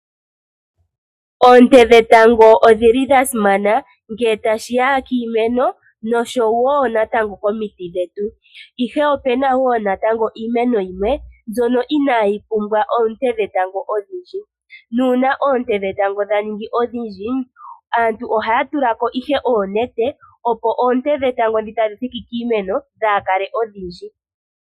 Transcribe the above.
Oonte dhetango odhili dha simana nge tashiya kiimeno nosho wo natango komiti dhetu. Ihe opena wo natango iimeno yimwe mbyono inaayi pumbwa oonte dhetango odhindji. Nuuna oonte dhetango dha ningi odhindji aantu ohaya tulako ihe oonete, opo oonte dhetango dhi tadhi thiki kiimeno dhaakale odhindji.